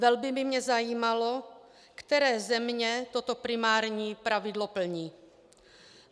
Velmi by mě zajímalo, které země toto primární pravidlo plní.